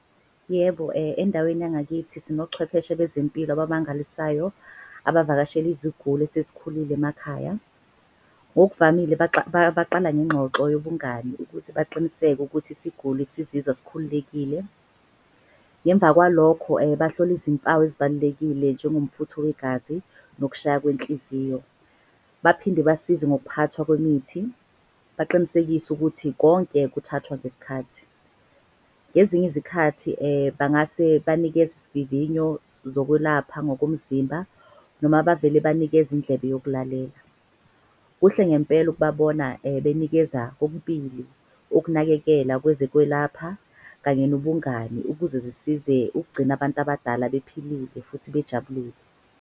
Yebo, endaweni yangakithi sinochwepheshe bezempilo ababangalisayo. Abavakasheli iziguli esezikhulile emakhaya. Ngokuvamile baqala ngengxoxo yobungani ukuze baqiniseke ukuthi isiguli sizizwa sikhululekile. Ngemva kwalokho bahlole izimpawu ezibalulekile njengomfutho wegazi nokushaya kwenhliziyo. Baphinde basize ngokuphathwa kwemithi, baqinisekise ukuthi konke kuthathwa ngesikhathi. Ngezinye izikhathi bangase banikeze isivivinyo zokwelapha ngokomzimba. Noma bavele banikeze indlebe yokulalela. Kuhle ngempela ukubabona benikeza okubili ukunakekelwa kwezekwelapha kanye nobungani. Ukuze zisize ukugcina abantu abadala bephilile futhi bejabulile.